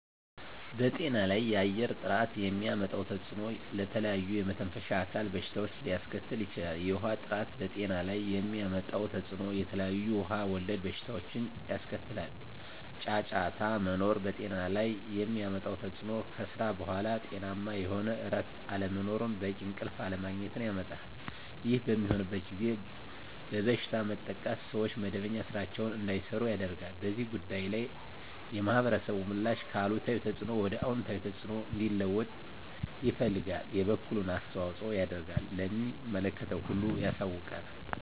በጤና ላይ የአየር ጥራት የሚያመጣው ተፅዕኖ ለተለያዩ የመተንፈሻ አካል በሽታዎችን ሊያስከትል ይችላል። የውሀ ጥራት በጤና ላይ የሚያመጣው ተፅዕኖ የተለያዩ ውሀ ወለድ በሽታዎችን ያስከትላል። ጫጫታ መኖር በጤና ላይ የሚያመጣው ተፅዕኖ ከስራ በኃላ ጤናማ የሆነ እረፍት አለመኖርን በቂ እንቅልፍ አለማግኘት ያመጣል። ይህ በሚሆንበት ጊዜ በበሽታ መጠቃትን ሰዎች መደበኛ ስራቸዉን እንዳይሰሩ ያደርጋል። በዚህ ጉዳይ ላይ የማህበረሰቡ ምላሽ ከአሉታዊ ተፅዕኖ ወደ አወንታዊ ተፅዕኖ እንዲለወጥ ይፈልጋል የበኩሉን አስተዋፅኦ ያደርጋል ለሚመለከተው ሁሉ ያሳውቃል።